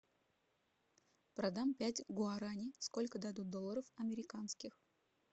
продам пять гуарани сколько дадут долларов американских